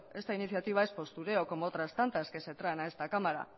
esta iniciativa es postureo como otras tantas que se traen a esta cámara